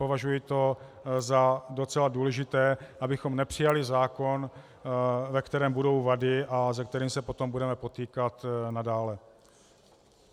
Považuji to za docela důležité, abychom nepřijali zákon, ve kterém budou vady a se kterým se potom budeme potýkat nadále.